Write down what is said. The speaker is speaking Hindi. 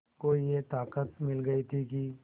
को ये ताक़त मिल गई थी कि